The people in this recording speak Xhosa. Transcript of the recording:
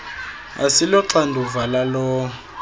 asilo xanduva lalowo